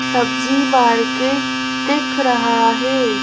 सब्जी मार्केट दिख रहा है।